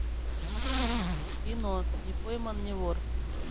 кино не пойман не вор